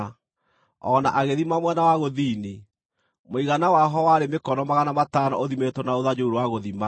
O na agĩthima mwena wa gũthini; mũigana waho warĩ mĩkono magana matano ũthimĩtwo na rũthanju rũu rwa gũthima.